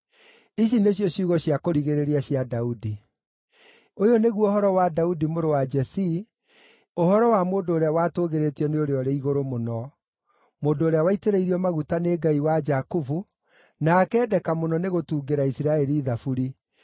Ici nĩcio ciugo cia kũrigĩrĩria cia Daudi: “Ũyũ nĩguo ũhoro wa Daudi mũrũ wa Jesii, ũhoro wa mũndũ ũrĩa watũgĩrĩtio nĩ Ũrĩa-ũrĩ-Igũrũ-Mũno, mũndũ ũrĩa waitĩrĩirio maguta nĩ Ngai wa Jakubu, na akeendeka mũno nĩ gũtungĩra Isiraeli thaburi: